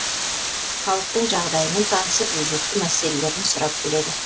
халықтың жағдайымен танысып өзекті мәселелер сұрап біледі